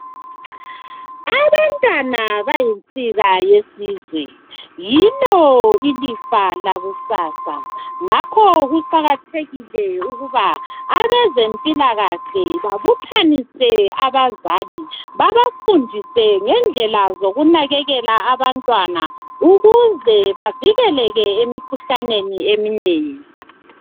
Abantwana bayinsika yesizwe. Yilo ilifa lakusasa ,ngakho kuqakathekile ukuba abezempilakahle babuthanise abazali babafundise ngendlela zokunakekela abantwana ukuze bavikeleke emikhuhlaneni eminengi.